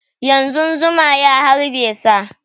Yanzun zuma ya harbe sa